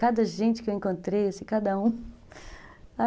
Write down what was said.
Cada gente que eu encontrei, assim, cada um, sabe?